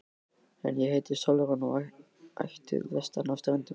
En ég heiti Sólrún og er ættuð vestan af Ströndum.